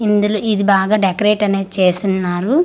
ఇందులో ఇది బాగా డెకరేట్ అనేది చేసున్నారు.